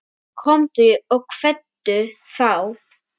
Komdu og kveddu þá.